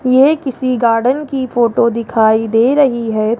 ये किसी गार्डन की फोटो दिखाई दे रही है।